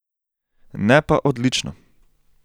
Ne pa odlično.